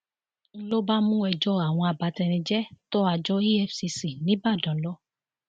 n ló bá mú ẹjọ àwọn abatenijẹ tó àjọ efcc nìbàdàn lọ